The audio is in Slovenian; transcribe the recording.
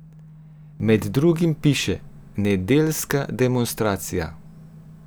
Med drugim piše: "Nedeljska demonstracija.